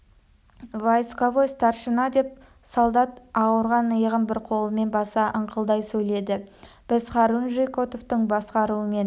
войсковой старшина деп солдат ауырған иығын бір қолымен баса ыңқылдай сөйледі біз хорунжий котовтың басқаруымен